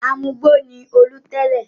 Amugbó ni Olú tẹ́lẹ̀.